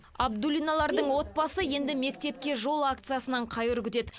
абдуллиналардың отбасы енді мектепке жол акциясынан қайыр күтеді